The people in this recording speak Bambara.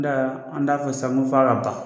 N da an t'a fɔ sa n ko f'a ka ban